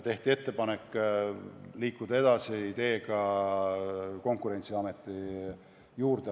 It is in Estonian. Tehti ettepanek liikuda edasi ideega luua see teenistus Konkurentsiameti juurde.